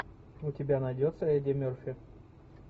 у тебя найдется эдди мерфи